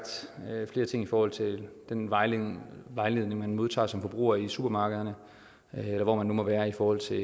flere ting i forhold til den vejledning vejledning man modtager som forbruger i supermarkederne eller hvor man nu måtte være i forhold til